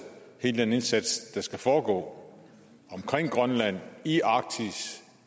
hele den indsats der skal foregå omkring grønland i arktis